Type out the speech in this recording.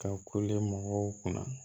Ka kule mɔgɔw kunna